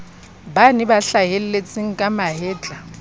bane ba hlahelletseng ka mahetla